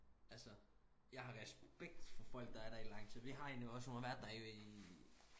Altså jeg har respekt for folk der er der i lang tid vi har en hos os hun har været der i